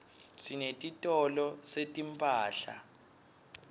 sinetitolo setimphahla